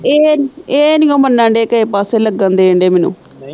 ਇਹ ਇਹ ਨਿਉ ਮੰਨਣ ਦੇ ਕਿਹੇ ਪਾਸੇ ਲੱਗਣ ਦੇਣ ਦੇ ਮੈਨੂੰ।